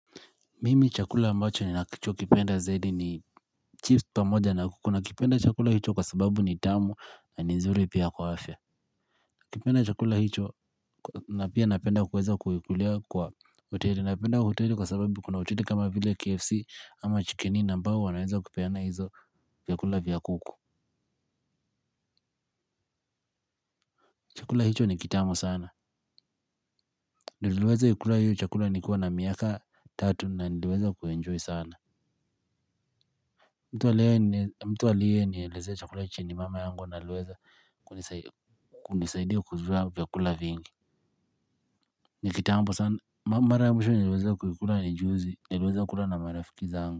Mimi chakula ambacho ninakicho kipenda zaidi ni chips pamoja na kuku na kipenda chakula hicho kwa sababu ni tamu na ni nzuri pia kwa afya. Kipenda chakula hicho na pia napenda kuweza kuhikulia kwa uteri napenda kuhuteri kwa sababu kuna uteri kama vile KFC ama chikini nambahu wanaweza kupena hizo kukula vya kuku. Chakula hicho ni kitamu sana niliweza ikula hiyo chakula nikiwa na miaka tatu na niliweza kuenjoy sana. Mtu aliye ni elezea chakula hichi ni mama yangu wa aliweza kunisaidia kujua vyakula vingi. Ni kitambo sana mara ya mwisho naliweza kuikula ni juzi niliweza kula na marafiki zangu.